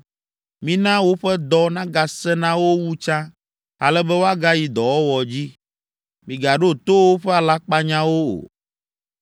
Mina woƒe dɔ nagasẽ na wo wu tsã ale be woagayi dɔwɔwɔ dzi. Migaɖo to woƒe alakpanyawo o.”